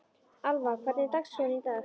Alva, hvernig er dagskráin í dag?